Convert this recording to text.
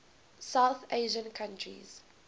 south asian countries